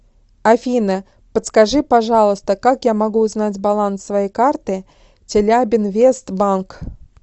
афина подскажи пожалуйста как я могу узнать баланс своей карты челябинвест банк